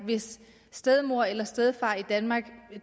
hvis stedmor eller stedfar i danmark